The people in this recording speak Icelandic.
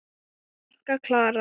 Þín frænka, Klara.